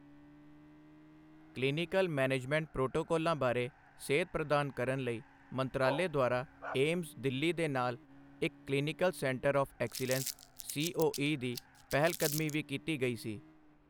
Clinical management ਪ੍ਰੋਟੋਕਾਲਾਂ ਬਾਰੇ ਸੇਧ ਪ੍ਰਦਾਨ ਕਰਨ ਲਈ ਮੰਤਰਾਲੇ ਦੁਆਰਾ ਏਮਜ਼, ਦਿੱਲੀ ਦੇ ਨਾਲ ਇੱਕ clinical centre of excellence COE ਦੀ ਪਹਿਲਕਦਮੀ ਵੀ ਕੀਤੀ ਗਈ ਸੀ।